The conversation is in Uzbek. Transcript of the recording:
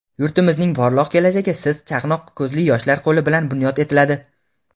yurtimizning porloq kelajagi siz- chaqnoq ko‘zli yoshlar qo‘li bilan bunyod etiladi.